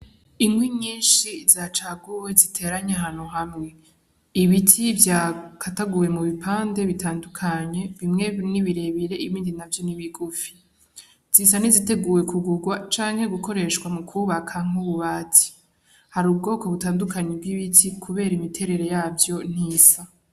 Inkwi nyinshi zacaguwe ziteranye ahantu hamwe; ibiti vyakataguwe mubipande bitandukanye bimwe biwme birebire ibindi navyo nibigufi. Zisa niziteguwe kugugwa canke gukoreshwa mukubakwa nkububati. Hari ubwoko butandukanye bwibiti kubera imiterere yavyo ntisa.